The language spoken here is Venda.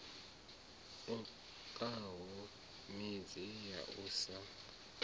okaho midzi ya u sa